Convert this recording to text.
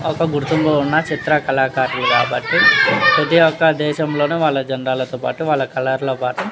వక గురుకుతూ ఉన చిత్గ్ర కాలము కాబట్టి ప్రతి ఒక దేశం లోను వాలా జెండా లో తో పటు వాలా కలర్ ల తో పటు --